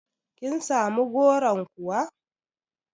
Kin samu goron kuwa?